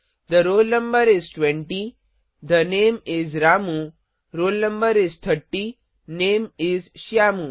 थे roll no is 20 the name is Ramu roll no is 30 name is Shyamu